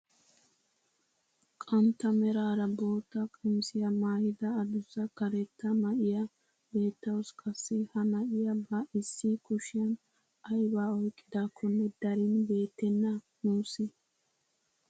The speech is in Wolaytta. Qantta meraara bootta qamisiyaa maayida adussa karetta na'iyaa beettawus. qassi ha na'iyaa ba issi kushshiyaan ayibaa oyqqidaakonne darin beettena nuusi.